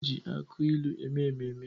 E ji aki ilu eme mmemme